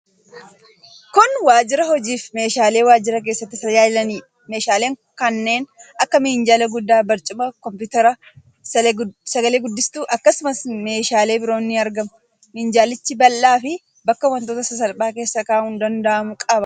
Kun waajjira hojiifi meeshaalee waajjira keessatti tajaajilaniidha. Meeshaaleen kanneen akka minjaala guddaa, barcuma, kompiwuutera, sagale-guddistuufi akkasumas meeshaalee biroon ni argamu. Minjaalichis bal'aa fi bakka wantoota sasalphaa keessa kaa'uun danda'aamu qaba.